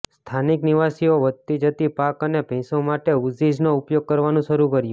સ્થાનિક નિવાસીઓ વધતી જતી પાક અને ભેંસો માટે ઊઝિઝનો ઉપયોગ કરવાનું શરૂ કર્યું